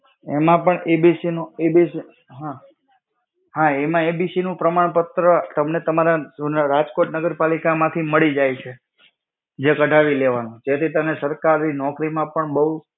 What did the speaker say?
એમાં પણ EBC નો EBC, હમ્મ. હા એમાં EBC નું પ્રમાણપત્ર તમને તમારા રાજકોટ નગરપાલિકા માંથી મળી જાય છે. જે કઢાવી લેવાનું, જેથી તને સરકારી નોકરી માં પણ બવ